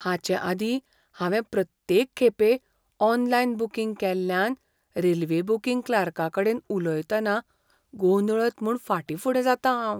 हाचेआदीं हांवें प्रत्येक खेपें ऑनलायन बूकिंग केल्ल्यान रेल्वे बूकिंग क्लार्काकडेन उलयतना गोंदळत म्हूण फाटीं फुडें जातां हांव.